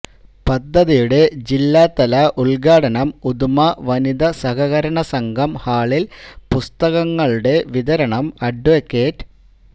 പദ്ധതിയുടെ ജില്ലാതല ഉൽഘാടനം ഉദുമ വനിത സഹകരണ സംഘം ഹാളിൽ പുസ്തകങ്ങളുടെ വിതരണം അഡ്വ